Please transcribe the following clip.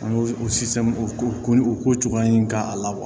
An y'o o o ko o ko cogoya in k'a la